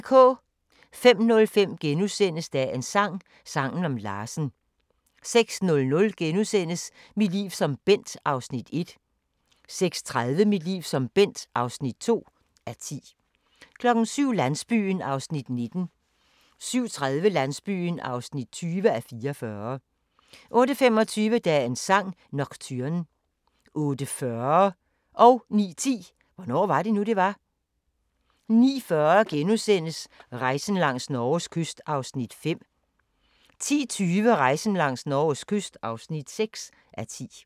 05:05: Dagens sang: Sangen om Larsen * 06:00: Mit liv som Bent (1:10)* 06:30: Mit liv som Bent (2:10) 07:00: Landsbyen (19:44) 07:30: Landsbyen (20:44) 08:25: Dagens sang: Nocturne 08:40: Hvornår var det nu, det var? 09:10: Hvornår var det nu, det var? 09:40: Rejsen langs Norges kyst (5:10)* 10:20: Rejsen langs Norges kyst (6:10)